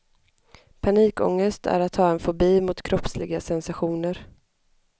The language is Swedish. Panikångest är att ha en fobi mot kroppsliga sensationer.